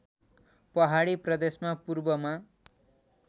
पहाडी प्रदेशमा पूर्वमा